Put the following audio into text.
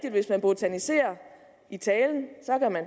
at hvis man botaniserer i talen det